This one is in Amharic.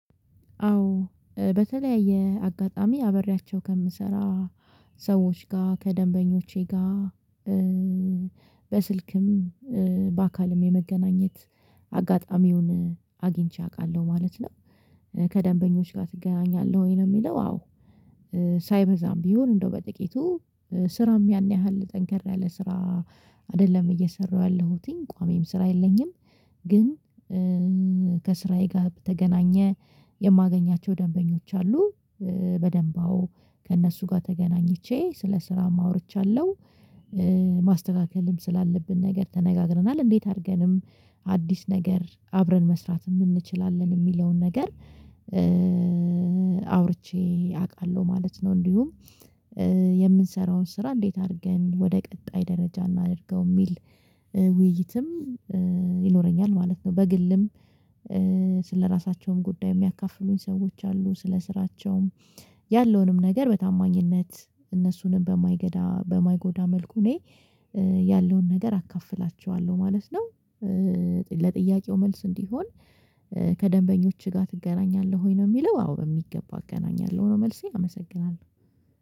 አዎ በተለያየ አጋጣሚ አብሪያቸው ከምሰራ ሰዎች ጋር ከደንበኞቼ ጋር በስልክም በአካልም የመገናኘት አጋጣሚውን አግኝቼ አውቃለሁ ማለት ነው። ከደንበኞች ጋር ትገናኛለህ ወይ ነው የሚለው? አዎ። ሳይበዛም ቢሆን እንደው በጥቂቱ ስራም ያን ያህል ጠንከር ያለ ስራ አይደለም እየሰራሁ ያለሁትኝ ቋሚም ስራ የለኝም። ግን ከስራዬ ጋር በተገናኘ የማገኛቸው ደንበኞች አሉ በደንባ አወ ከእነሱ ጋር ተገናኝቼ ስለ ስራም አውርቻለሁ። ማስተካከልም ስላለብን ነገር ተነጋግረናል እንዴት አድርገንም አዲስ ነገር አብረን መስራትም እንችላለን የሚለውን ነገር አውርቼ አውቃለሁ ማለት ነው። እንዲሁም የምንሰራውን ስራ እንዴት አድርገን ወደ ቀጣይ ደረጃ እናድርገው የሚል ውይይትም ይኖረኛል ማለት ነው። በግልም ስለራሳቸውም ጉዳይ የሚያካፍሉኝ ሰዎች አሉ ስለ ስራቸውም ያለውንም ነገር በታማኝነት እነሱንም በማይገዳ በማይጎዳ መልኩ እኔ ያለውን ነገር አካፍላቸዋለሁ ማለት ነው። ለጥያቄው መልስ እንዲሆን ከደንበኞችህ ጋር ትገናኛለህ ወይ ነው የሚለው? አዎ በሚገባ እገናኛለሁ ነው መልሴ አመሰግናለሁ።